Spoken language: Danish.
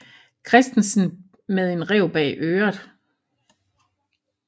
Christensen med en ræv bag øret